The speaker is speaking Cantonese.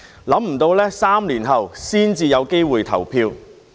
想不到3年後才有機會投票。